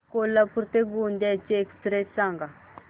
कोल्हापूर ते गोंदिया ची एक्स्प्रेस सांगा